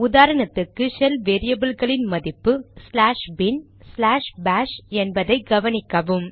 உதாரணத்துக்கு ஷெல் வேரியபில்களின் மதிப்பு ச்லாஷ் பின்bin ச்லாஷ் பாஷ் என்பதை கவனிக்கவும்